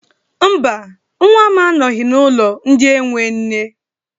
Mba, nwa m anoghị n'ụlọ ndị enwe nne.